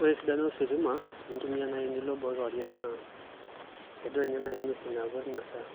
Ore esidano ositima enintumia nai enilo boo kewarie naa idol nye nai ng'uesin naapuo tina saa.